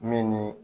Min ni